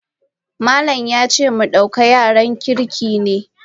Malam yace mu duka yaran kirki ne.